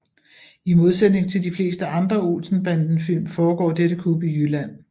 I modsætning til de fleste andre Olsen Banden film foregår dette kup i Jylland